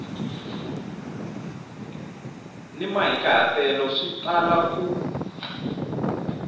ni mahikahatelo swi tala ku